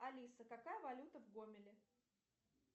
алиса какая валюта в гомеле